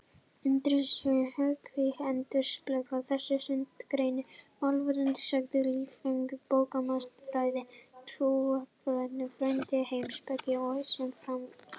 Undirgreinar hugvísinda endurspegla þessa sundurgreiningu: málfræði, sagnfræði, listfræði, bókmenntafræði, trúarbragðafræði, heimspeki og svo framvegis.